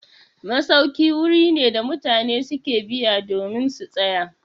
Masauki wuri ne da mutane su ke biya domin su tsaya.